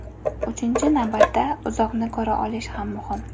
Uchinchi navbatda, uzoqni ko‘ra olishi ham muhim.